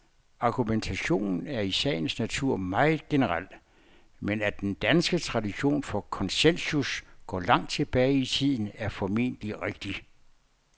Argumentationen er i sagens natur meget generel, men at den danske tradition for konsensus går langt tilbage i tiden, er formentlig rigtigt.